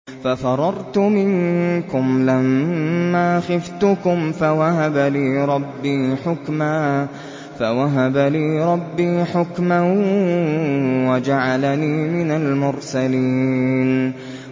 فَفَرَرْتُ مِنكُمْ لَمَّا خِفْتُكُمْ فَوَهَبَ لِي رَبِّي حُكْمًا وَجَعَلَنِي مِنَ الْمُرْسَلِينَ